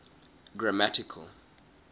grammatical